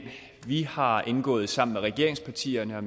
vi har indgået sammen med regeringspartierne og